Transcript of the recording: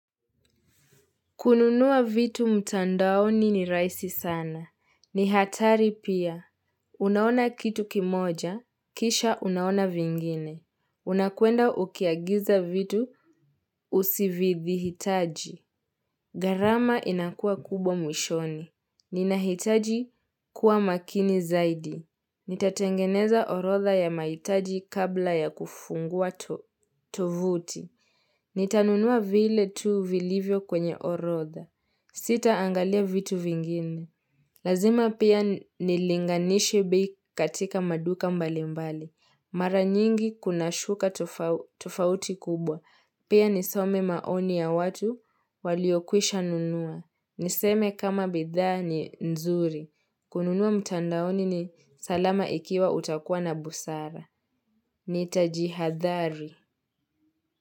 Kununua vitu mtandaoni ni rahisi sana. Ni hatari pia. Unaona kitu kimoja, kisha unaona vingine. Unakwenda ukiagiza vitu usividhihitaji. Gharama inakuwa kubwa mwishoni. Ninahitaji kuwa makini zaidi. Nitatengeneza orodha ya mahitaji kabla ya kufungua tovuti Nitanunua vile tuu vilivyo kwenye orodha Sitaangalia vitu vingine Lazima pia nilinganishe bei katika maduka mbalimbali Mara nyingi kunashuka tofauti kubwa Pia nisome maoni ya watu waliokwisha nunua Niseme kama bidhaa ni nzuri kununua mtandaoni ni salama ikiwa utakuwa na busara. Nitajihadhari.